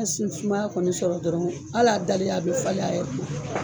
N'a sun ye sumaya kɔni sɔrɔ dɔrɔn al'a dalen , a bɛ falen yɛrɛ.